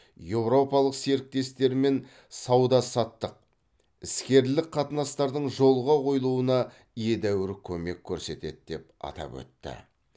еуропалық серіктестермен сауда саттық іскерлік қатынастардың жолға қойылуына едәуір көмек көрсетеді деп атап өтті